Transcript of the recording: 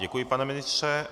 Děkuji, pane ministře.